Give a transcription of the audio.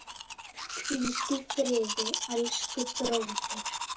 Hvíldu í friði, elsku bróðir.